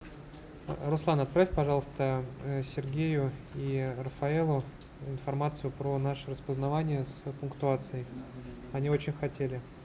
руслан отправь пожалуйста сергею и рафаэлу информацию про наше распознавание с пунктуацией они очень хотели